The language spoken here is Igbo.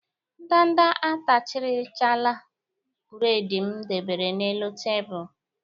Ndanda atarichaala buredi m debere n'elu tebulu.